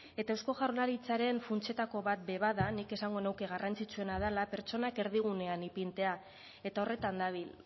eta eusko jaurlaritzaren funtsetako bat ere bada nik esango nuke garrantzitsuena dela pertsonak erdigunean ipintzea eta horretan dabil